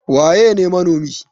Waƴe ne manomi?